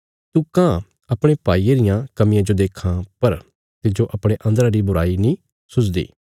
तू काँह अपणे भाईये रियां कमियां जो देक्खां पर तिज्जो अपणे अन्दरा री बुराई नीं सुझदी